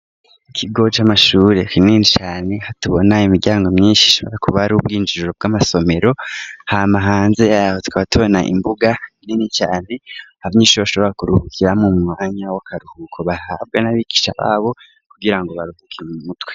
Ikigo c'amashuri kinini cane, hatubona imiryango myinshi, bishobora kuba ari ubwinjiriro bw'amasomero, hama hanze yabo twabatubona imbuga inini cane, Abanyeshuri bashobora kuruhukiramwo mumwanya w'akaruhuko ,bahabwa n'abigisha babo, kugira ngo baruhuke mumutwe.